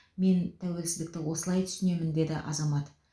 мен тәуелсіздікті осылай түсінемін деді азамат